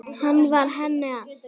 Hann var henni allt.